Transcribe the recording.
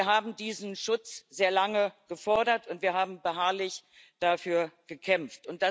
Wir haben diesen Schutz sehr lange gefordert, und wir haben beharrlich dafür gekämpft.